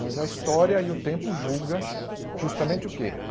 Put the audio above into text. Mas a história e o tempo julgam justamente o quê?